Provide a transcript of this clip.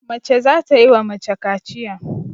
Mace za ta yi wa mace kaciya.